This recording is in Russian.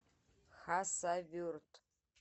хасавюрт